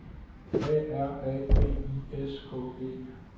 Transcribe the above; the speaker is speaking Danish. A R A B I S K E